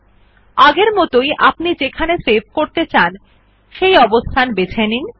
পূর্বের মতই আপনি যেখানে সেভ করতে চান সেই অবস্থান বেছে নিন